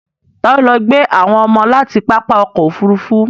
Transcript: Ta ló lọ gbé àwọn ọmọ láti pápá ọkọ̀ Òfurufú?